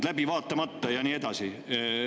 – läbi vaatamata ja nii edasi.